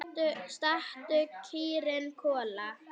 Stattu, kýrin Kolla!